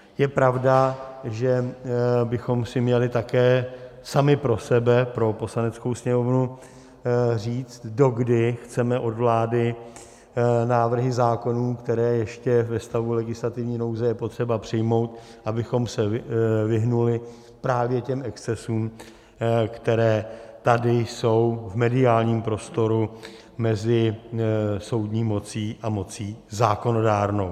Je pravda, že bychom si měli také sami pro sebe, pro Poslaneckou sněmovnu, říct, dokdy chceme od vlády návrhy zákonů, které ještě ve stavu legislativní nouze je potřeba přijmout, abychom se vyhnuli právě těm excesům, které tady jsou v mediálním prostoru mezi soudní mocí a mocí zákonodárnou.